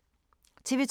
TV 2